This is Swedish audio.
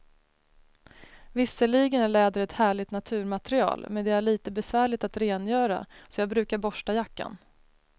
Visserligen är läder ett härligt naturmaterial, men det är lite besvärligt att rengöra, så jag brukar borsta jackan.